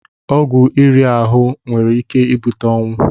Ọgwụ iri ahụ nwere ike ibute ọnwụ.